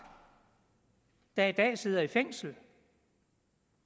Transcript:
der i dag sidder i fængsel